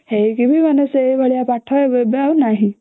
ସେଇଥି ବି ସେଇ ଭଳିଆ ପାଠ ଏବେ ଆଉ ନାହିଁ